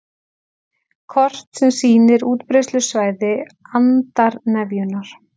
Kort sem sýnir útbreiðslusvæði andarnefjunnar